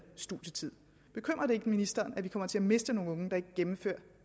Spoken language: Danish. studietid bekymrer det ikke ministeren at vi kommer til at miste nogle unge der ikke gennemfører